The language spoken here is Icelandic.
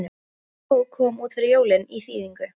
Þessi bók kom út fyrir jólin í þýðingu